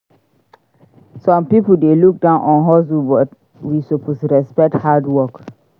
Some pipo dey look down on hustle but we suppose respect hard work.